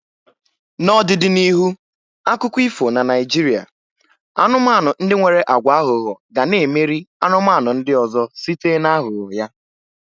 N'ọdịdị n'ihu akụkọ ifo na Naijiria, anumanu ndi nwere agwa aghụghọ ga na-emeri anụmanụ ndị ọzọ site na ahugho ya